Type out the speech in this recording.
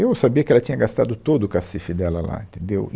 Eu sabia que ela tinha gastado todo o cacife dela lá, entendeu? E